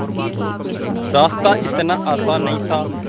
रास्ता इतना आसान नहीं था